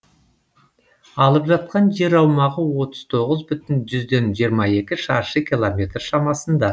алып жатқан жер аумағы отыз тоғыз бүтін жүзден жиырма екі шаршы километр шамасында